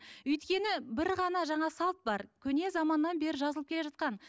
өйткені бір ғана жаңа салт бар көне заманнан бері жазылып келе жатқан